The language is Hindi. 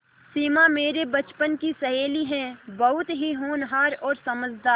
सिमा मेरे बचपन की सहेली है बहुत ही होनहार और समझदार